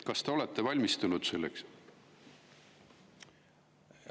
Kas te olete valmistunud selleks?